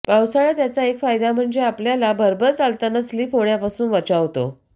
पावसाळ्यात याचा एक फायदा म्हणजे आपलला भरभर चालताना स्लिप होण्यापासून बचावतो